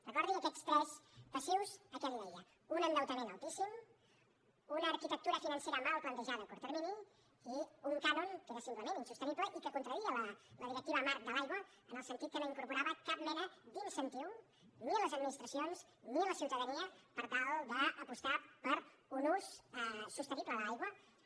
recordi aquests tres passius que li deia un endeutament altíssim una arquitectura financera mal plantejada a curt termini i un cànon que era simplement insostenible i que contradeia la directiva marc de l’aigua en el sentit que no incorporava cap mena d’incentiu ni a les administracions ni a la ciutadania per tal d’apostar per un ús sostenible de l’aigua i